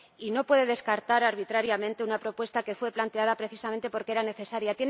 No puede descartar arbitrariamente una propuesta que fue planteada precisamente porque era necesaria.